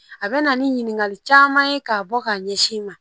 A bɛna ni ɲininkali caman ye k'a bɔ k'a ɲɛsin i ma